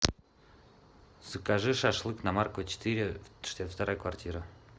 закажи шашлык на маркова четыре шестьдесят вторая квартира